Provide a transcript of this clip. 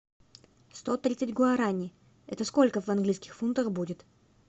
сто тридцать гуарани это сколько в английских фунтах будет